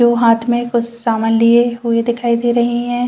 जो हाथ मे कुछ समान लिए हुए दिखाई दे रहे हैं।